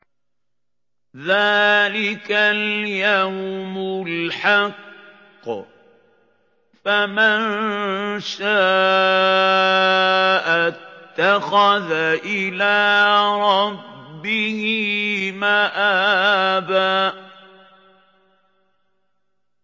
ذَٰلِكَ الْيَوْمُ الْحَقُّ ۖ فَمَن شَاءَ اتَّخَذَ إِلَىٰ رَبِّهِ مَآبًا